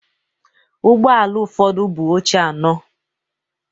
Ụgbọ ala ụfọdụ buu oche anọ.